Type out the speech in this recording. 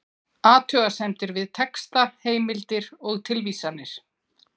Athugasemdir við texta, heimildir og tilvísanir